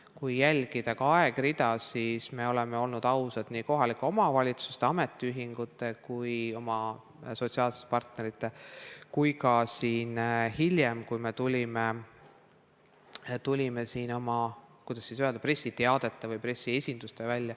Kui jälgida ka aegrida, siis me oleme olnud ausad nii kohalike omavalitsuste, ametiühingute ja oma sotsiaalsete parterite suhtes kui ka hiljem siin, kui tulime välja oma – kuidas siis öelda – pressiteadete või pressiesindustega.